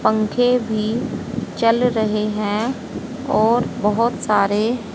पंखे भी चल रहे हैं और बहुत सारे--